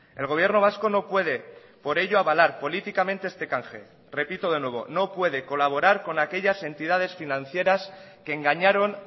el gobierno vasco no puede por ello avalar políticamente este canje repito de nuevo no puede colaborar con aquellas entidades financieras que engañaron